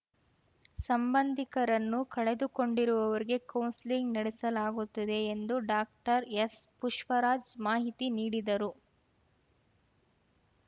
ಸಂಬಂಧಿಕರನ್ನು ಕಳೆದುಕೊಂಡಿರುವವರಿಗೆ ಕೌನ್ಸೆಲಿಂಗ್‌ ನಡೆಸಲಾಗುತ್ತಿದೆ ಎಂದು ಡಾಕ್ಟರ್ಎಸ್‌ ಪುಷ್ಪರಾಜ್‌ ಮಾಹಿತಿ ನೀಡಿದರು